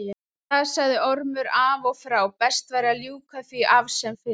Það sagði Ormur af og frá, best væri að ljúka því af sem fyrst.